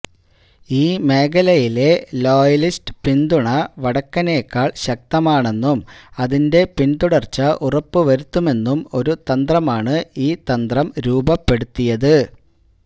ഈ മേഖലയിലെ ലോയലിസ്റ്റ് പിന്തുണ വടക്കെനേക്കാൾ ശക്തമാണെന്നും അതിന്റെ പിൻതുടർച്ച ഉറപ്പുവരുത്തുമെന്നും ഒരു തന്ത്രമാണ് ഈ തന്ത്രം രൂപപ്പെടുത്തിയത്